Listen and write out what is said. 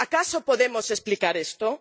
¿Acaso podemos explicar esto?